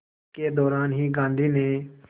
के दौरान ही गांधी ने